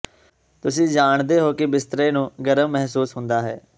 ਤੁਸੀਂ ਜਾਣਦੇ ਹੋ ਕਿ ਬਿਸਤਰੇ ਨੂੰ ਗਰਮ ਮਹਿਸੂਸ ਹੁੰਦਾ ਹੈ